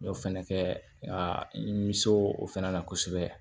N y'o fɛnɛ kɛ ka n bɛ se o fɛnɛ na kosɛbɛ